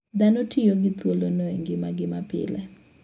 Dhano tiyo gi thuolono e ngimagi mapile.